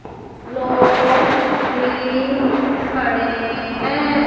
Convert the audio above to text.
लोग भी खड़े हैं।